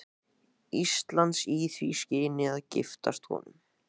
Íslands í því skyni að giftast honum.